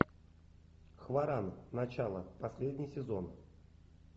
хваран начало последний сезон